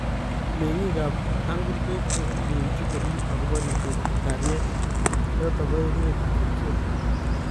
mengik ap Tangulbei kokakilenji korip akopo ripset ap kaliet chotok PO emet ap Ethiopia